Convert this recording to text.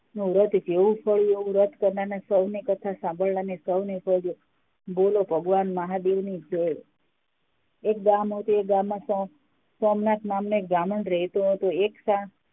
વ્રત જેવું કહ્યું એવું કર્યું સોંને કથા સાંભળનારને સોઉંને કથા સાંભળનારને સોંને બોલો ભગવાન મહાદેવ ની જય. એક ગામ હતું એ ગામમાં સોમનાથ નામનો એક બ્રાહ્મણ રહેતો હતો એક